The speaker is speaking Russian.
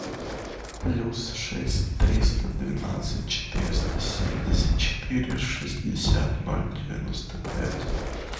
плюс шесть триста двенадцать четыреста семьдесят четыре шестьдесят ноль девяносто пять